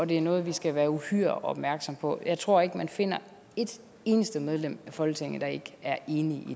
det er noget vi skal være uhyre opmærksomme på jeg tror ikke man finder et eneste medlem af folketinget der ikke er enige